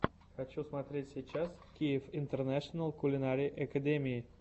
хочу смотреть сейчас киев интернэшенал кулинари экэдими